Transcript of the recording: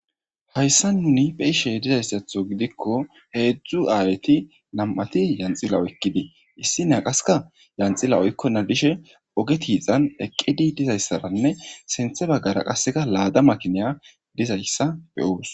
Hayssa nuni be ishe dizayssatho gidikko heedzdzu aayeti nam7ati yanxila oykkidii issi naqaska yanxila oykkona dishe oge tiixan eqqedi dizayssaranne senthe baggara qaseka laada makiniya dizayssa beyoos.